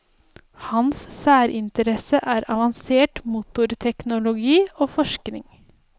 Hans særinteresse er avansert motorteknologi og forskning.